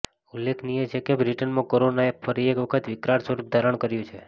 ઉલ્લેખનીય છે કે બ્રિટનમાં કોરોનાએ ફરી એક વખત વિકરાળ સ્વરૂપ ધારણ કર્યું છે